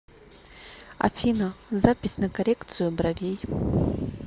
афина запись на коррекцию бровей